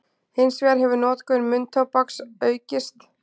Hins vegar hefur notkun munntóbaks aukist.